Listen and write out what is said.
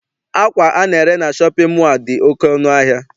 Akwa ana-ere na shọpịn mọọ a dị oké ọnụ ahịa.